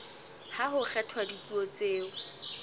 ha ho kgethwa dipuo tseo